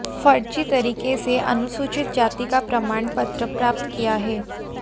फर्जी तरीके से अनुसूचित जाति का प्रमाण पत्र प्राप्त किया है